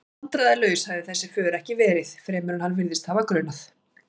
Vandræðalaus hafði þessi för ekki verið, fremur en hann virðist hafa grunað.